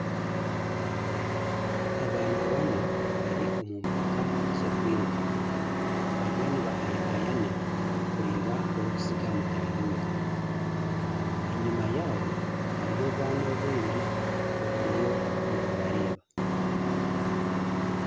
Abaana bana bari omu mpaka z'okwiruka. Bariyo nibahayahayana kureeba orikusiga mutaahi we. Enyima yaabo hariyo obwana obundi oburiyo nibubareeba